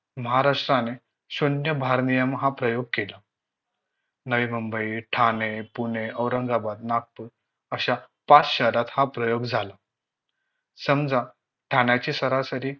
महाराष्ट्राने शून्य भारनियम हा प्रयोग केला नवी मुंबई ठाणे पुणे औरंगाबाद नागपूर अशा पाच शहरात हा प्रयोग झाला समजा ठाण्याची सरासरी